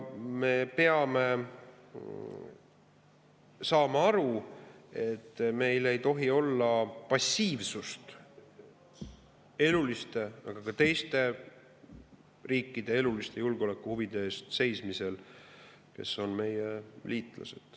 Me peame aru saama, et me ei tohi olla passiivsed ja ka meie liitlasriikide eluliste julgeolekuhuvide eest seismisel.